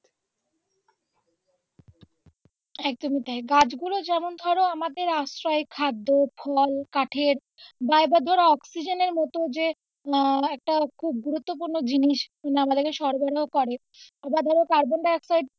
একদমই তাই গাছগুলো যেমন ধরো আমাদের আশ্রয়, খাদ্য, ফুল, ফল কাঠের বা আবার ধরো অক্সিজেনের মতো যে আহ একটা খুব গুরুত্ব পূর্ণ জিনিস আমাদেরকে সরবরাহ করে আবার ধরো কার্বন ডাই অক্সাইড,